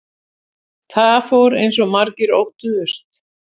Það fór eins og margir óttuðust